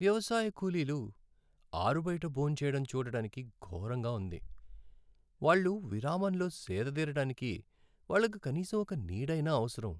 వ్యవసాయ కూలీలు ఆరుబయట భోంచేయడం చూడటానికి ఘోరంగా ఉంది. వాళ్ళు విరామంలో సేదతీరడానికి వాళ్ళకి కనీసం ఒక నీడైనా అవసరం.